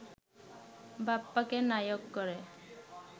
বাপ্পাকে নায়ক করে